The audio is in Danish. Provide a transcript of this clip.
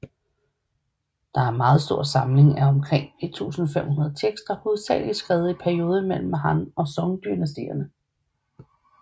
Det er en meget stor samling af omkring 1500 tekster hovedsageligt skrevet i perioden mellem Han og Song dynastierne